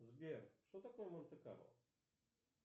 сбер что такое монте карло